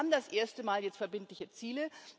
Wir haben das erste Mal jetzt verbindliche Ziele.